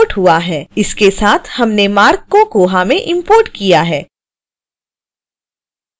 इसके साथ हमने marc को koha में इंपोर्ट किया है